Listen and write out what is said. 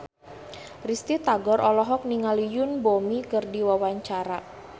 Risty Tagor olohok ningali Yoon Bomi keur diwawancara